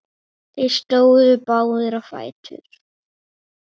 Þeir stóðu báðir á fætur.